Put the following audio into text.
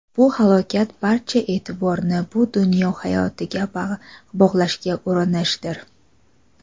Bu halokat barcha e’tiborni bu dunyo hayotiga bog‘lashga urinishdir.